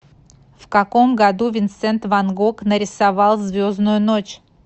в каком году винсент ван гог нарисовал звездную ночь